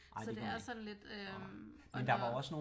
Så det er sådan lidt øh og når